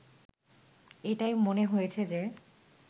এটাই মনে হয়েছে যে